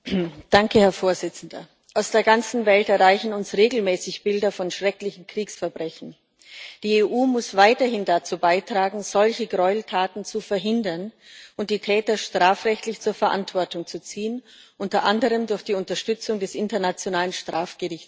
Herr Präsident! Aus der ganzen Welt erreichen uns regelmäßig Bilder von schrecklichen Kriegsverbrechen. Die EU muss weiterhin dazu beitragen, solche Gräueltaten zu verhindern und die Täter strafrechtlich zur Verantwortung zu ziehen unter anderem durch die Unterstützung des Internationalen Strafgerichtshofs.